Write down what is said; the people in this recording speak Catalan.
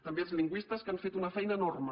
també als lingüistes que han fet una feina enorme